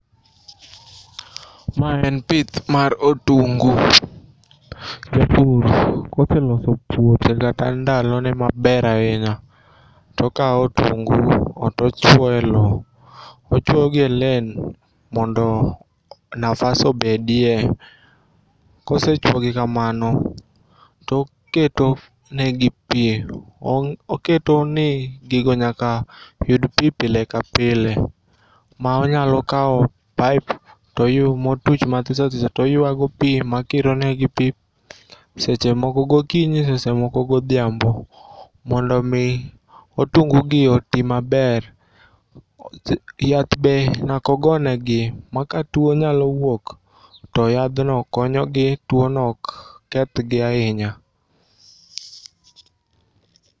Ma en pith mar otungu. Japur koseloso puothe kata ndalone maber ainya tokao otungu tochuoe loo ochuoyogi e len mondo nafas obedie. Kosechuogi kamano toketo negi pii. Oketoni gigo nyaka yud pii pile ka pile ma onyalokao paip motuch mathisothiso toyuayogo pii makironegi pii sesemoko gokinyi, sesemoko godhiambo mondo omii otungugi otii maber. Yath be nyakogonegi ma katuo nyalowuok to yadhno konyogi tuono ok kethgi ainya.